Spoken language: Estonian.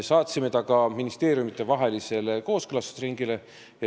Saatsime ta ka ministeeriumitevahelisele kooskõlastusringile.